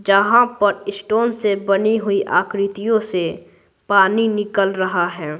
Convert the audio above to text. जहां पर स्टोन से बनी हुई आकृतियों से पानी निकल रहा है।